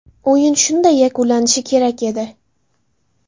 O‘yin shunday yakunlanishi kerak edi.